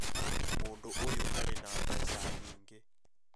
Mũndũ ũyũ arĩ na mbeca nyingĩ